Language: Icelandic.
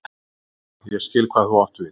Aha, ég skil hvað þú átt við.